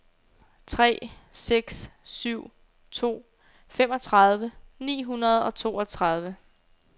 tre seks syv to femogtredive ni hundrede og toogtredive